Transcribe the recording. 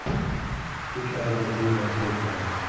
Uch oydan keyin nashr etiladi.